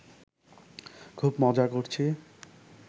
খুব মজা করছি